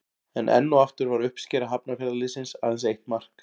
En enn og aftur var uppskera Hafnarfjarðarliðsins aðeins eitt mark.